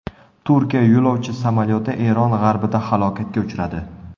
Turkiya yo‘lovchi samolyoti Eron g‘arbida halokatga uchradi.